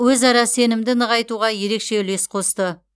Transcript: өзара сенімді нығайтуға ерекше үлес қосты